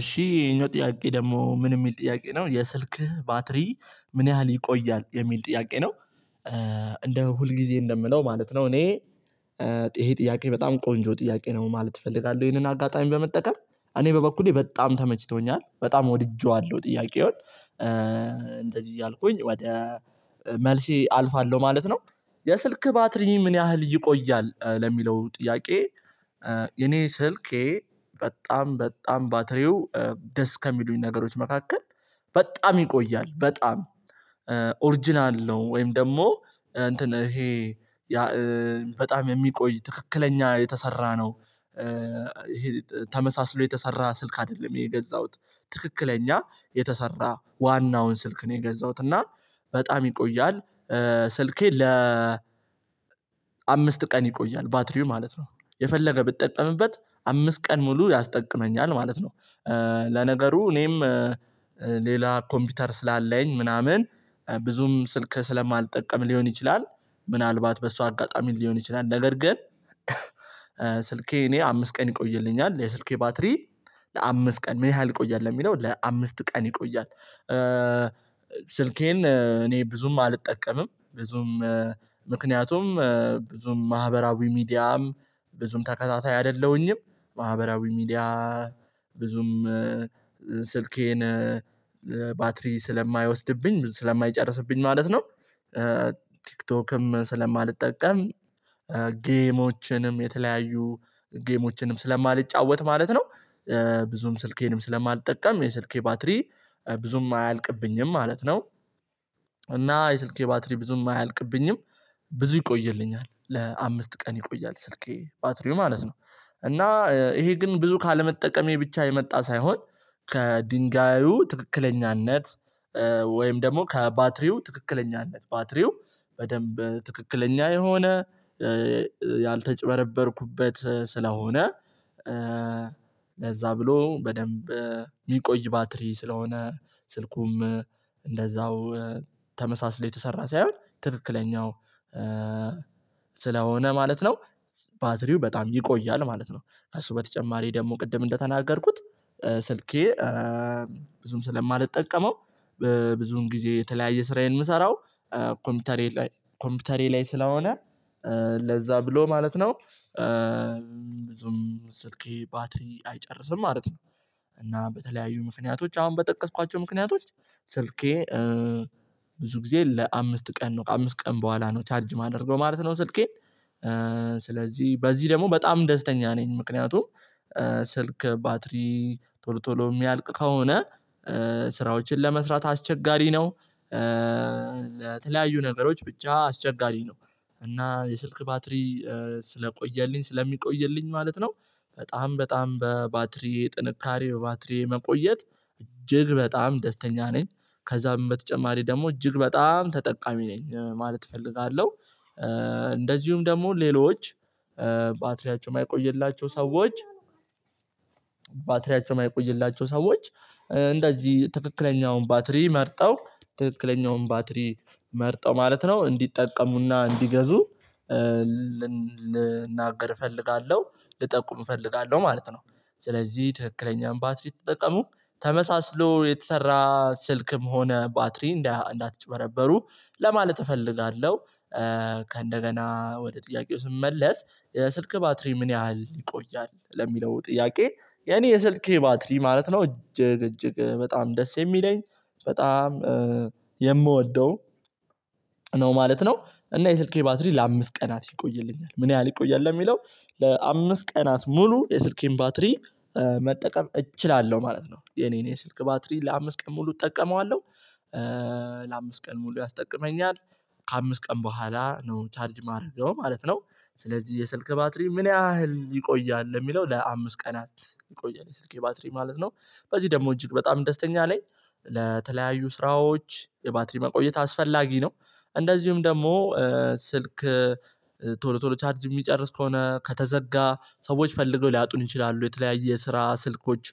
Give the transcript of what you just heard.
እሺ ይሄኛው ጥያቄ ደግሞ ምን የሚል ጥያቄ ነው የስልክህ ባትሪ ምን ያህል ይቆያል የሚል ጥያቄ ነው? እንደ ሁልጊዜ እንደምለው ማለት ነው። እኔ ይሄ ጥያቄ በጣም ቆንጆ ጥያቄ ነው ማለት እፈልጋለሁ ይሄንን አጋጣሚ በመጠቀም እኔ በበኩሌ በጣም ተመችቶኛል በጣም ወድጄዋለሁ ጥያቄው እንደዚህ እያልኩኝ ወደ መልሴ አልፋለሁ ማለት ነው። የስልክ ባትሪ ምን ያህል ይቆያል ለሚለው ጥያቄ? የኔ ስልኬ በጣም በጣም ባትሪው ደስ ከሚሉኝ ነገሮች መካከል በጣም ይቆያል በጣም ኦሪጅናል ነው ወይም ደግሞ እንትን ይሄ በጣም የሚቆይ ትክክለኛ የተሰራ ነው። ተመሳስሎ የተሰራ ስልክ አይደለም የገዛሁት ትክክለኛ የተሰራ ዋናውን ስልክ ነው የገዛሁት እና በጣም ይቆያል። ስልኬ ለ አምስት ቀን ይቆያል ባትሪው ማለት ነው የፈለገ ብትጠቀምበት አምስት ቀን ሙሉ ያስጠቅመኛል ማለት ነው። ለነገሩ እኔም ሌላ ኮምፒውተር ስላለኝ ምናምን ብዙም ስልክ ስለማልጠቀም ሊሆን ይችላል። ምናልባት በሷ አጋጣሚ ሊሆን ይችላል። ነገር ግን ስልኬ እኔ አምስት ቀን ይቆይልኛል። የስልኬ ባትሪ ለአምስት ቀን ምን ያህል ይቆያል ለሚለው ለአምስት ቀን ይቆያል። ስልኬን እኔ ብዙም አልጠቀምም ብዙም ምክንያቱም ብዙም ማህበራዊ ሚዲያም ብዙም ተከታታይ አይደለሁኝም ማህበራዊ ሚዲያ ብዙም ስልኬን ባትሪ ስለማይወስድብኝ ስለማይጨርስብኝ ማለት ነው። ቲክቶክም ስለማልጠቀም ጌሞችንም የተለያዩ ጌሞችንም ስለማልጫወት ማለት ነው። ብዙም ስልኬንም ስለማልጠቀም የስልኬ ባትሪ ብዙም አያልቅብኝም ማለት ነው። እና የስልኬ ባትሪ ብዙም አያልቅብኝም ብዙ ይቆይልኛል ለአምስት ቀን ይቆያል ስልኬ ባትሪው ማለት ነው። እና ይሄ ግን ብዙ ካለመጠቀሜ ብቻ የመጣ ሳይሆን ከድንጋዩ ትክክለኛነት ወይም ደግሞ ከባትሪው ትክክለኛነት ባትሪው በደንብ ትክክለኛ የሆነ ያልተጭበረበርኩበት ስለሆነ ለዛ ብሎ በደንብ የሚቆይ ባትሪ ስለሆነ ስልኩም እንደዛው ተመሳስሎ የተሰራ ሳይሆን ትክክለኛው ስለሆነ ማለት ነው። ባትሪው በጣም ይቆያል ማለት ነው። ከእሱ በተጨማሪ ደግሞ ቅድም እንደተናገርኩት ስልኬ ብዙም ስለማልጠቀመው ብዙን ጊዜ የተለያየ ስራዬን የምሰራው ኮምፒውተሬ ላይ ኮምፒውተሬ ላይ ስለሆነ ለዛ ብሎ ማለት ነው። ብዙም ስልኬ ባትሪ አይጨርስም ማለት ነው። እና በተለያዩ ምክንያቶች አሁን በጠቀስኳቸው ምክንያቶች ስልኬ ብዙ ጊዜ ለአምስት ቀን ነው አምስት ቀን በኋላ ነው ቻርጅ የማደርገው ማለት ነው። ስልኬን ስለዚህ በዚህ ደግሞ በጣም ደስተኛ ነኝ። ምክንያቱም ስልክ ባትሪ ቶሎ ቶሎ የሚያልቅ ከሆነ ስራዎችን ለመስራት አስቸጋሪ ነው። ለተለያዩ ነገሮች ብቻ አስቸጋሪ ነው። እና የስልክ ባትሪ ስለቆየልኝ ስለሚቆይልኝ ማለት ነው። በጣም በጣም በባትሪ ጥንካሬ በባትሪ መቆየት እጅግ በጣም ደስተኛ ነኝ። ከዛ በተጨማሪ ደግሞ እጅግ በጣም ተጠቃሚ ነኝ ማለት እፈልጋለሁ። እንደዚሁም ደግሞ ሌሎች ባትሪያቸው የማይቆይላቸው ሰዎች ባትሪያቸው ማይቆይላቸው ሰዎች እንደዚህ ትክክለኛውን ባትሪ መርጠው ትክክለኛውን ባትሪ መርጠው ማለት ነው እንዲጠቀሙና እንዲገዙ ልናገር እፈልጋለሁ ልጠቁም እፈልጋለሁ ማለት ነው። ስለዚህ ትክክለኛውን ባትሪ ተጠቀሙ ተመሳስሎ የተሰራ ስልክም ሆነ ባትሪ እንዳትጭበረበሩ ለማለት እፈልጋለሁ። ከእንደገና ወደ ጥያቄው ስመለስ ስልክ ባትሪ ምን ያህል ይቆያል ለሚለው ጥያቄ? የኔ የስልኬ ባትሪ ማለት ነው እጅግ እጅግ በጣም ደስ የሚለኝ በጣም የምወደው ነው ማለት ነው። እና የስልኬ ባትሪ ለአምስት ቀናት ይቆይልኛል ምን ያህል ይቆያል ለሚለው ለአምስት ቀን ሙሉ የስልኬን ባትሪ። መጠቀም እችላለሁ ማለት ነው የኔን የስልክ ባትሪ ለአምስት ቀን ሙሉ እጠቀመዋለሁ። ለአምስት ቀን ሙሉ ያስጠቅመኛል ከአምስት ቀን በኋላ ነው ቻርጅ ማደርገው ማለት ነው። ስለዚህ የስልክ ባትሪ ምን ያህል ይቆያል የሚለው ለአምስት ቀናት ይቆያል የስልክ ባትሪ ማለት ነው። በዚህ ደግሞ እጅግ በጣም ደስተኛ ላይ ለተለያዩ ስራዎች የባትሪ መቆየት አስፈላጊ ነው። እንደዚሁም ደግሞ ስልክ ቶሎ ቶሎ ቻርጅ የሚጨርስ ከሆነ ከተዘጋ ሰዎች ፈልገው ሊያጡን ይችላሉ የተለያየ ስራ ስልኮች